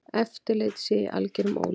Eftirlit sé í algerum ólestri.